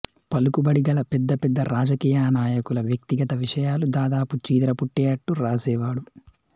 పలుకుబడిగల పెద్ద పెద్ద రాజకీయనాయకుల వ్యక్తిగత విషయాలు దాదాపు చీదర పుట్టేట్టు వ్రాశేవాడు